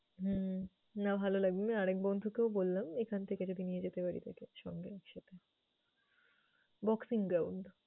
হুম না ভালো লাগবে। আর এক বন্ধুকেও বললাম ওইখান থেকে যদি নিয়ে যেতে পারি তাকে তাইলে সঙ্গে একসাথে boxing ground ।